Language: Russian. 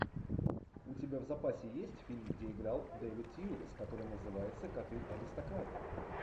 у тебя в запасе есть фильм где играл дэвид тьюлис который называется коты аристократы